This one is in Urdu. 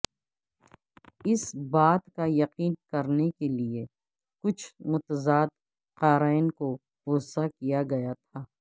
اس بات کا یقین کرنے کے لئے کچھ متضاد قارئین کو غصہ کیا گیا تھا